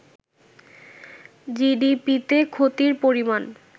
জিডিপিতে ক্ষতির পরিমাণ